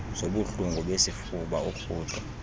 zobuhlungu besifuba urhudo